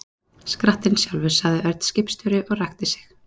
Skrattinn sjálfur, sagði Örn skipstjóri og ræskti sig.